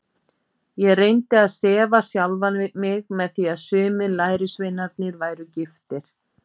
Ég reyndi að sefa sjálfan mig með því að sumir lærisveinarnir væru giftir.